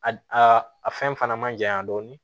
A a a a fɛn fana man janya dɔɔnin